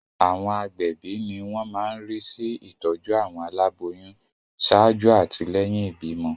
Àwọn agbẹ̀bí ni wọ́n máa ń rí sí ìtọ́jú àwọn aláboyún ṣáájú àti lẹ́yìn ìbímọ.